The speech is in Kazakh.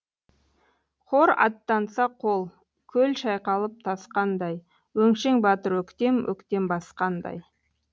хор аттанса қол көл шайқалып тасқандай өңшең батыр өктем өктем басқандай